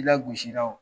I lagosira wo